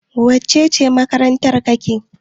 wacece makaranta kake?